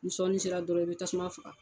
Ni sɔɔni sera dɔrɔn i bɛ tasuma faga.